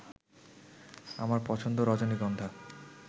আমার পছন্দ রজনীগন্ধা